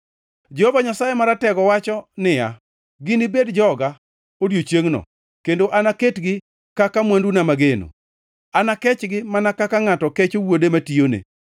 Jehova Nyasaye Maratego wacho niya, “Ginibed joga, odiechiengʼno kendo anaketgi kaka mwanduna mageno. Anakechgi mana kaka ngʼato kecho wuode matiyone.